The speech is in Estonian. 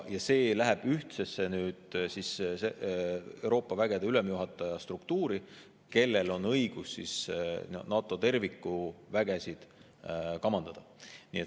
Nad lähevad ühtsesse Euroopa vägede ülemjuhataja struktuuri, kellel on õigus NATO kui terviku vägesid kamandada.